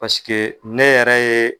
Paseke ne yɛrɛ ye